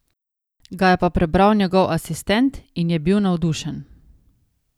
Ga je pa prebral njegov asistent in je bil navdušen.